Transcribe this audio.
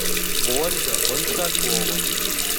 ольга большакова